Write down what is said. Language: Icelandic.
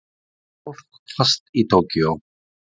Fólk fast í Tókýó